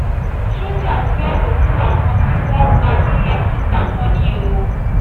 àwọn sójà gbé òkú àwọn tí wọ́n pa ní lékì pamọ́ ni o